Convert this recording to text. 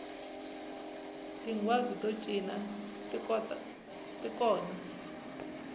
tinghwazi to cina ti kona